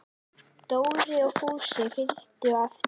Dóri og Fúsi fylgdu á eftir.